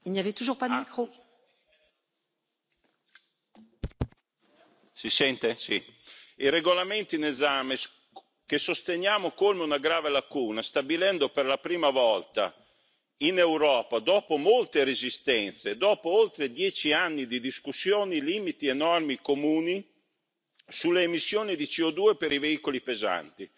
Signora Presidente, onorevoli colleghi, il regolamento in esame che sosteniamo colma una grave lacuna stabilendo per la prima volta in Europa, dopo molte resistenze, dopo oltre dieci anni di discussioni, limiti e norme comuni sulle emissioni di CO2 per i veicoli pesanti,